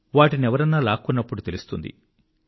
వాటినెవరన్నా లాక్కున్నప్పుడు తెలుస్తుంది